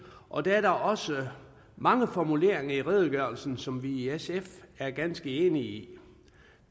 og der er da også mange formuleringer i redegørelsen som vi i sf er ganske enige i